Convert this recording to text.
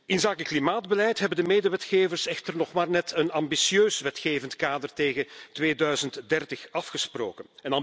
Inzake klimaatbeleid hebben de medewetgevers echter nog maar net een ambitieus wetgevend kader tegen 2030 afgesproken.